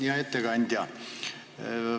Hea ettekandja!